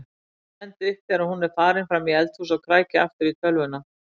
Stend upp þegar hún er farin fram í eldhús og kræki aftur í tölvuna.